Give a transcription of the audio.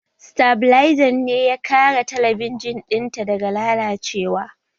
Sitabilizan ne ya kare talabijin ɗinta daga lalacewa